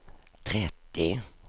trettio